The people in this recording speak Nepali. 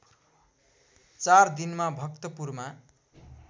४ दिनमा भक्तपुरमा